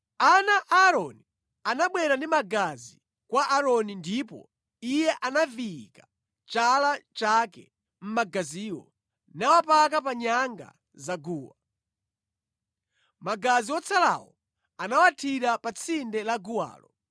Ana a Aaroni anabwera ndi magazi kwa Aaroni ndipo iye anaviyika chala chake mʼmagaziwo, nawapaka pa nyanga za guwa. Magazi wotsalawo anawathira pa tsinde la guwalo.